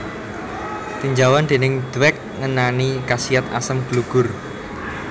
Tinjauan déning Dweck ngenani khasiat asem gelugur